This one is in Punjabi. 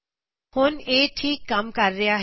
ਹੁਣ ਇਹ ਠੀਕ ਕੰਮ ਕਰ ਰਿਹਾ ਹੈ